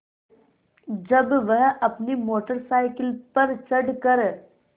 जब वह अपनी मोटर साइकिल पर चढ़ कर